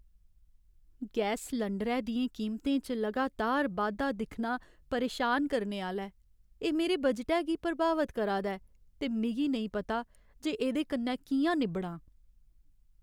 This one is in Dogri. गैस सलैंडरै दियें कीमतें च लगातार बाद्धा दिक्खना परेशान करने आह्‌ला ऐ। एह् मेरे बजटै गी प्रभावत करा दा ऐ, ते मिगी नेईं पता जे एह्दे कन्नै कि'यां निब्बड़ां।